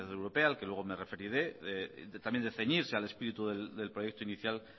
europea al que luego me referiré también de ceñirse al espíritu del proyecto inicial